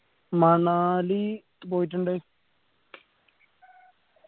മണാലി പോയിട്ടുണ്ട്